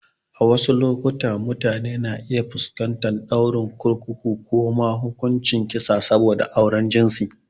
A wasu lokuta, mutane na iya fuskantar ɗaurin kurkuku ko ma hukuncin kisa saboda auren jinsi.